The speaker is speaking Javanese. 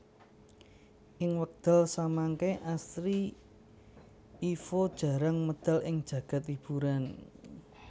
Ing wekdal samangke Astri Ivo jarang medal ing jagad hiburan